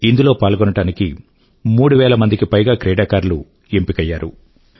ఇందులో పాల్గొనడానికి మూడు వేల కు పైగా క్రీడాకారులు ఎంపికయ్యారు